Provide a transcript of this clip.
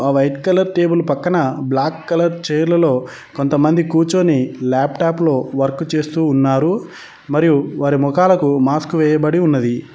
ఒక white colour table పక్కన black colour chair లలో కొంతమంది కూర్చొని లాప్టాప్ లో వర్క్ చేస్తూ ఉన్నారు మరియు వారి మొఖాలకు మాస్క్ వేయబడి ఉన్నది.